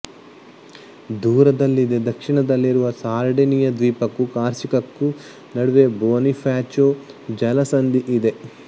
ದೂರದಲ್ಲಿದೆ ದಕ್ಷಿಣದಲ್ಲಿರುವ ಸಾರ್ಡಿನಿಯ ದ್ವೀಪಕ್ಕೂ ಕಾರ್ಸಿಕಕ್ಕೂ ನಡುವೆ ಬೊನಿಫಾಚೊ ಜಲಸಂಧಿಯಿದೆ